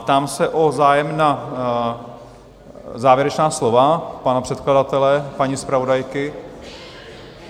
Ptám se na zájem o závěrečná slova pana předkladatele, paní zpravodajky?